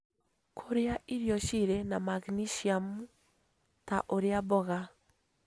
Kũrĩa irio cirĩ na maginesiamu, ta ũrĩa mboga